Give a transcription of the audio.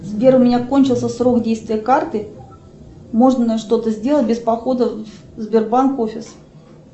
сбер у меня кончился срок действия карты можно что то сделать без похода в сбербанк офис